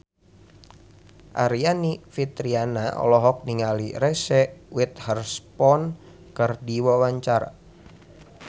Aryani Fitriana olohok ningali Reese Witherspoon keur diwawancara